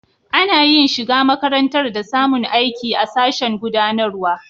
Ana yin shiga makarantar da samun aiki a sashen gudanarwa.